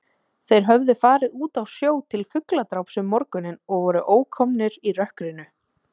Þeir höfðu farið út á sjó til fugladráps um morguninn og voru ókomnir í rökkrinu.